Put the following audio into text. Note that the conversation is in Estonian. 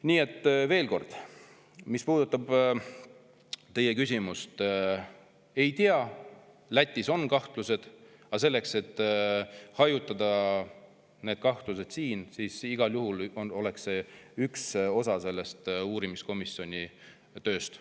Nii et veel kord, mis puudutab teie küsimust: Lätis on kahtlused, aga see, et hajutada neid kahtlusi, oleks igal juhul üks osa selle uurimiskomisjoni tööst.